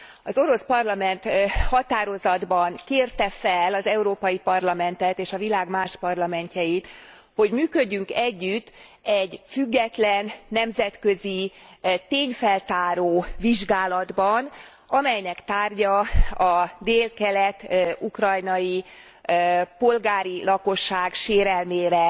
Az orosz parlament határozatban kérte fel az Európai Parlamentet és a világ más parlamentjeit, hogy működjünk együtt egy független, nemzetközi tényfeltáró vizsgálatban, amelynek tárgya a délkelet ukrajnai polgári lakosság sérelmére